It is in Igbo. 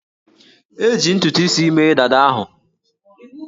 E ji ntutu isi mee dada ahụ